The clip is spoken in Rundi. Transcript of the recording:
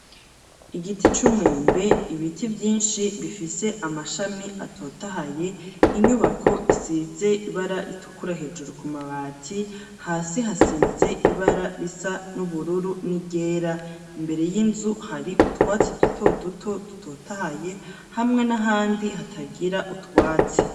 Igiti c'umwembe ibiti vyinshi bifise amashami atotahaye, inyubako isize ibara ritukura hejuru ku mabati hasi hasize ibara risa n'ubururu n'iryera, imbere y'inzu hari utwatsi duto duto dutotahaye hamwe n'ahandi hatagira utwatsi.